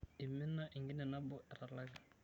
Eimina enkine nabo etalaki.